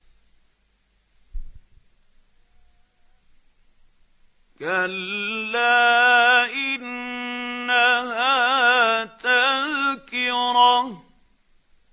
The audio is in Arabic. كَلَّا إِنَّهَا تَذْكِرَةٌ